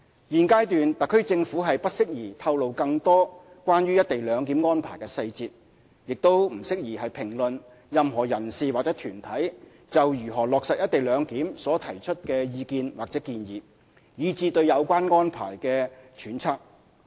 現階段，特區政府不適宜透露更多關於"一地兩檢"安排的細節，也不宜評論任何人士或團體就如何落實"一地兩檢"所提出的意見或建議，以至對有關安排的揣測。